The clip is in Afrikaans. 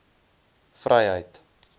vryheid